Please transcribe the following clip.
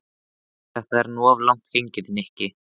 Þetta er nú of langt gengið, Nikki.